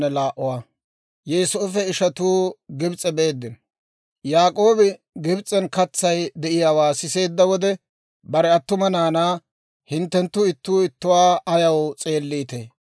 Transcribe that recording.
Yaak'oobi Gibs'en katsay de'iyaawaa siseedda wode, bare attuma naanaa, «hinttenttu ittuu ittuwaa ayaw s'eelliitee?